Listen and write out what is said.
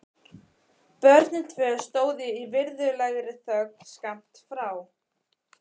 Börnin tvö stóðu í virðulegri þögn skammt frá.